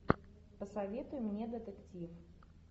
посоветуй мне детектив